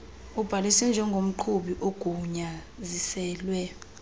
ubhaliswe njengomqhubi ogunyaziselwe